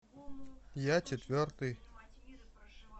я четвертый